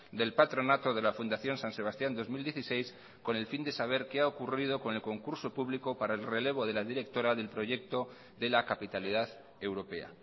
del patronato de la fundación san sebastián dos mil dieciséis con el fin de saber qué ha ocurrido con el concurso público para el relevo de la directora del proyecto de la capitalidad europea